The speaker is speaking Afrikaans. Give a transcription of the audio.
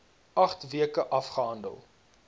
agt weke afgehandel